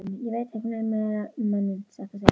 Ég veit ekki miklu meira um manninn, satt að segja.